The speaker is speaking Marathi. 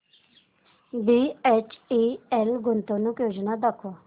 बीएचईएल गुंतवणूक योजना दाखव